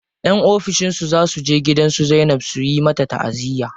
Yan ofishin su za suje gidan su Zainab su yi mata taʼaziya.